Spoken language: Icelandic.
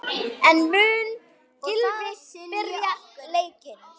En mun Gylfi byrja leikinn?